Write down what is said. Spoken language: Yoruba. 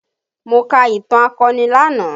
Mo ka ìtàn akọni lánàá